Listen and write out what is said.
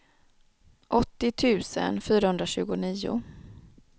åttio tusen fyrahundratjugonio